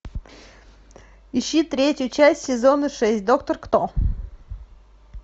ищи третью часть сезона шесть доктор кто